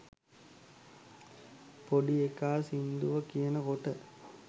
පොඩි එකා සින්දුව කියන කොට